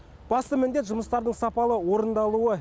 басты міндет жұмыстардың сапалы орындалуы